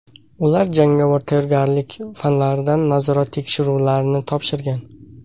Ular jangovar tayyorgarlik fanlaridan nazorat tekshiruvlarini topshirgan.